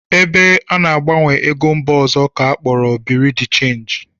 Ebe ana-agbanwe ego mba ọzọ ka akpọrọ Birui de chenji